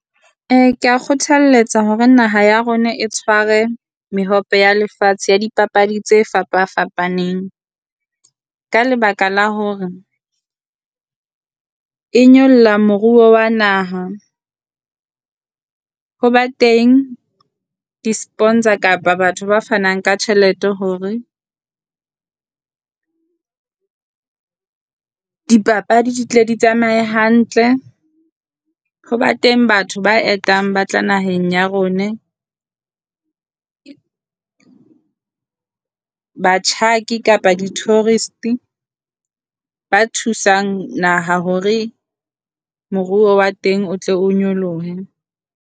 Ee kea kgothalletsa hore naha ya rona e tshware mehope ya lefatshe ya dipapadi tse fapa fapaneng, ka lebaka la hore e nyolla moruo wa naha. Ho ba teng di sponsor kapa batho ba fanang ka tjhelete hore dipapadi di tla di tsamaye hantle. Ho ba teng batho ba etang ba tla naheng ya rone batjhaki kapa di tourist-e ba thusang naha hore moruo wa teng o tle o nyolohe.